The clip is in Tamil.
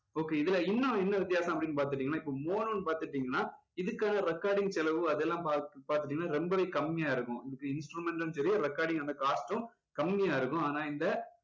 okay இதுல இன்னும் என்ன வித்தியாசம் அப்படின்னு பாத்துக்கிட்டீங்கன்னா இப்போ mono னு பாத்துக்கிடீங்கன்னா இதுக்கான recording செலவு அதெல்லாம் பாத்து~ பாத்துக்கிட்டீங்கன்னா ரொம்பவே கம்மியா இருக்கும் இதுக்கு instrument டும் சரி recording டும் அந்த cost டும் கம்மியா இருக்கும். ஆனா இந்த